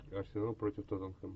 арсенал против тоттенхэм